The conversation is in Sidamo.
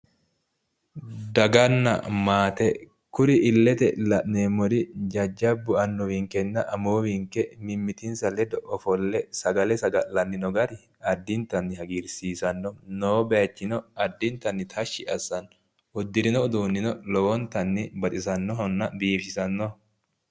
Daganna maate. kuri illete la'neemmori jajjabbu annuwinkenna amuwinke mimmitinsa ledo ofolle sagale saga'lanni no gari addintanni hagiirsiisanno. noo bayichino addinatnni tashshi assanno. uddirino uduunnino lowontanni baxisannohonna biifisannoho.